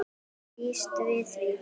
Ég býst við því!